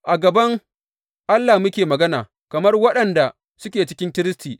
A gaban Allah muke magana, kamar waɗanda suke cikin Kiristi.